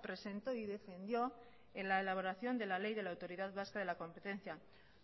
presentó y defendió en la elaboración de la ley de la autoridad vasca de la competencia